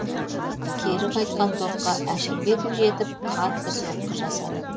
кері қайтқан допқа әшірбеков жетіп қатты соққы жасады